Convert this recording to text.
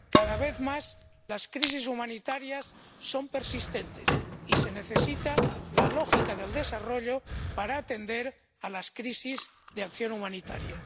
Cada vez más, las crisis humanitarias son persistentes y se necesita la lógica del desarrollo para atender a las crisis de acción humanitaria.